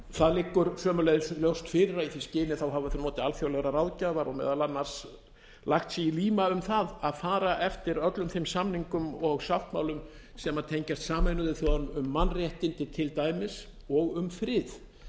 það liggur sömuleiðis fyrir að í því skyni hafa þau notið alþjóðlegrar ráðgjafar og meðal annars lagt sig í líma um það að fara eftir öllum þeim samningum og sáttmálum sem tengjast sameinuðu þjóðunum um mannréttindi til dæmis og um frið